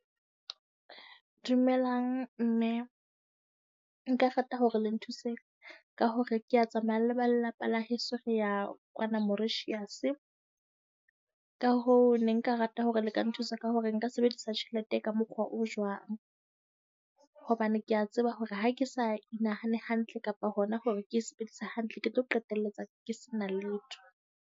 Dumelang, mme. Nka hore le nthuse ka hore kea tsamaya le ba lelapa la heso, re ya kwana Mauritius. Ka hoo ne nka rata hore le ka nthusa ka hore nka sebedisa tjhelete ka mokgwa o jwang. Hobane ke a tseba hore ha ke sa inahane hantle kapa hona hore ke e sebedisa hantle, ke tlo qetelletse ke sa na letho.